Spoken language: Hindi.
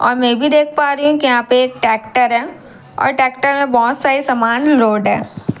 और मैं भी देख पा रही हूँ की यहां पे एक ट्रेक्टर है और ट्रेक्टर में बहुत सारी सामान लोड है।